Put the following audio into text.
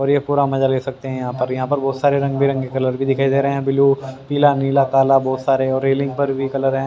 और ये पूरा मजा ले सकते हैं यहां पर यहां पर बहोत सारे रंग बिरंगी कलर भी दिखाई दे रहे हैं ब्लू पीला नीला काला बहोत सारे और रेलिंग पर भी कलर है।